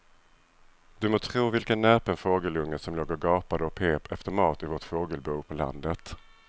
Du må tro vilken näpen fågelunge som låg och gapade och pep efter mat i vårt fågelbo på landet.